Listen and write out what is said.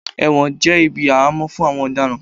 ẹwọ́n jé ibí ahamo fún àwọn Ọdaran.